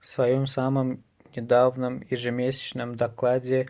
в своём самом недавнем ежемесячном докладе